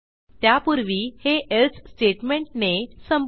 त्यापूर्वी हे एल्से स्टेटमेंटने संपवू